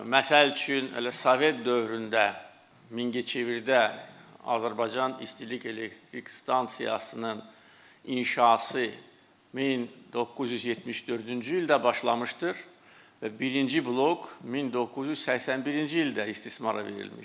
Məsəl üçün, hələ Sovet dövründə Mingəçevirdə Azərbaycan İstilik Elektrik Stansiyasının inşası 1974-cü ildə başlamışdır və birinci blok 1981-ci ildə istismara verilmişdir.